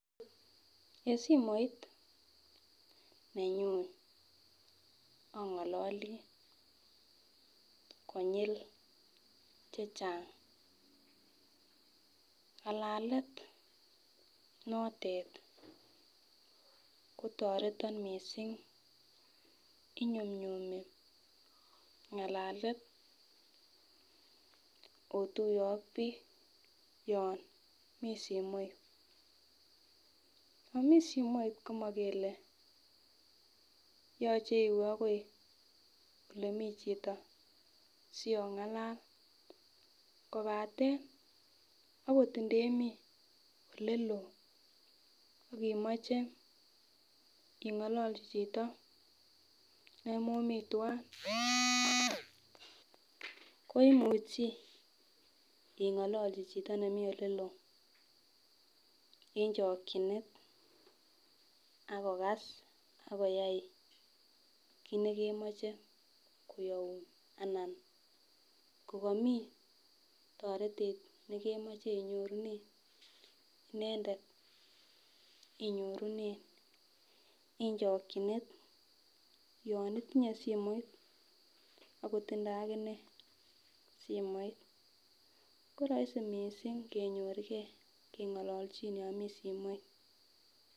En simoit nenyun ongololi konyil chechang, ngalalet notet kotoreton missing inyumnyumi ngalalet otuye ak bik yon mii simoit. Yon mii simoit komo kele yoche iwee akoi ile mii chito siongalala kopaten okot indemii oleloo ak imoche ingololji chito nemomii twan Ko imuchi ingololji chito nemii oleloo en chokinet ak kogas akoyai kit nekemoche koyoun ana kokomii toretet nekemoche inyorune inendet inyorune en chokinet yon itinye simoit akotindo akinee simoit koroisi missing kenyorgee kengololjin yon mii simoit.